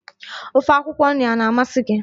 Ofe akwụkwọ nri a na-amasị gị?